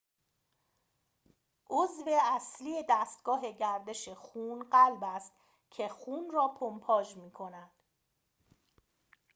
عضو اصلی دستگاه گردش خون قلب است که خون را پمپاژ می‌کند